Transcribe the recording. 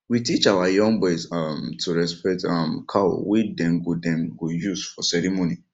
we teach our young boys um to respect um cow wey dem go dem go use for ceremony